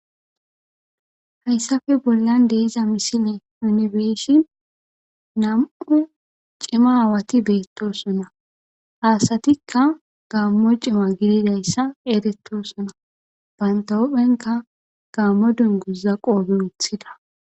hayssafe bollan de iza misile yunibersin nam7u cima aawati beettosona haasatikka gammo cima gididayssa eerettosona bantaopphenka gaammo dunguza qoobe wuthida